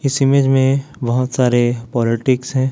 इस इमेज में बहोत सारे पॉलिटिक्स हैं।